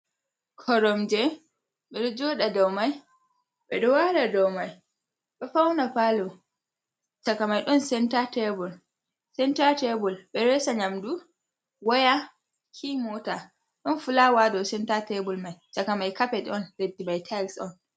"Koromje" ɓe ɗo joda ɗow mai ɓe ɗo wala ɗow mai feuna palo saka mai don sentar tebul senta tebul ɓiresa nyamdu waya ki mota ɗon fulawa dow senta tebul mai saka mai kapet on liddi mai teyis on.